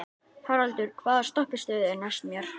Haraldur, hvaða stoppistöð er næst mér?